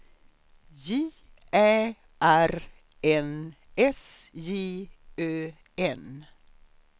J Ä R N S J Ö N